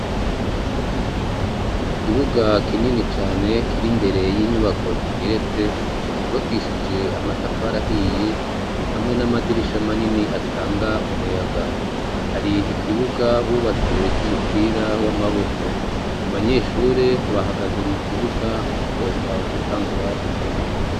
mu kibuga kinini cane kiri mbere y'inyubako zigeretse zubakishije amatafari ahiye hamwe n'amadirisha manini atanga umuyaga hari ikibuga bubatse c'umupira w'amaboko abanyeshuri bahagaze mu kibuga bagomba gutangura gukina